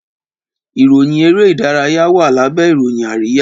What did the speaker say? Ìròyìn èrè idaraya wá lábé ìròyìn àríyá